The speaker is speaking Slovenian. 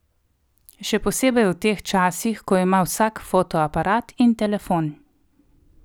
Še posebej v teh časih, ko ima vsak fotoaparat in telefon.